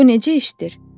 Bu necə işdir?